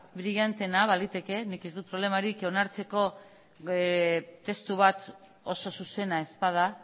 brilanteena baliteke nik ez dut problemarik onartzeko testu bat oso zuzena ez bada